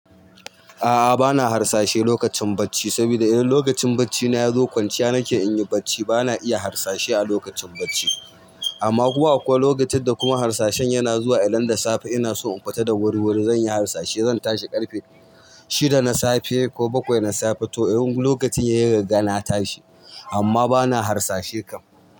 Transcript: A'a bana harsashe lokacin bacci saboda idan lokacin bacci na ya zo kwanciya nake in yi bacci bana iya harsashe a lokacin bacci. Amma kuwa kuwa lokacin da kuma harsashen yana zuwa idan da safe ina so in kwata da wuri wuri zan yi harsashe zan tashi ƙarfe shida na safe ko bakwai na safe to in lokacin yayi riga na tashi amma bana harsashe kam.